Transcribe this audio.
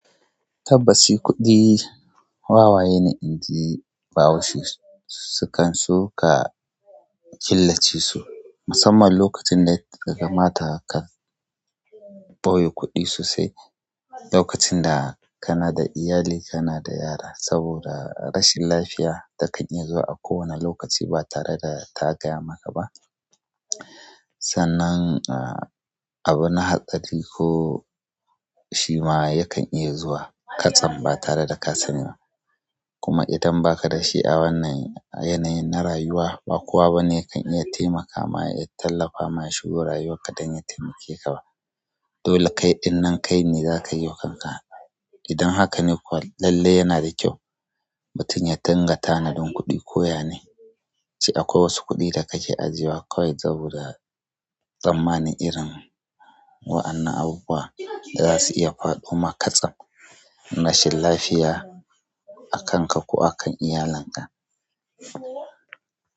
Tabbas, shi kuɗi wawaye ne inji bahaushe sukan so ka killace su musamman lokacin da ya kamata ka ɓoye kuɗi sosai. Lokacin da kana da iyali, kana da yara, saboda rashin lafiya takan iya zuwa a kowanne lokaci ba tare da ta gaya maka ba. Sannan abu na hatsari ko shima yakan iya zuwa katsan ba tare daka sani ba. Kuma idan baka dashi a wannan yanayi na rayuwa, ba kowa bane yakan iya taimaka ma ya tallafa ma ya shigo rayuwarka don ya taimake ka ba. Dole kaiɗin nan kai ne zaka yiwa kanka. Idan hakane kuwa, lalle yana da kyau mutum ya dinga tanadin kuɗi. Koya ne ce akwai wasu kuɗi da kake ajiye wa kawai saboda tsammanin irin wa'annan abubuwa da zasu iya faɗo ma katsan, rashin lafiya a kanka ko akan iyalanka.